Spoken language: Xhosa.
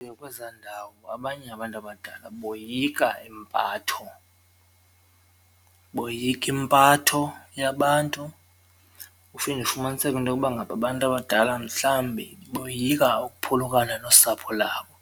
Kwezaa ndawo abanye abantu abadala boyika impatho, boyika impatho yabantu uphinde ufumaniseke into yokuba ngaba abantu abadala mhlawumbi boyika ukuphulukana nosapho labo,